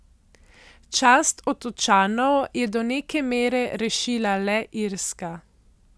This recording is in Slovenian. Čast Otočanov je do neke mere rešila le Irska.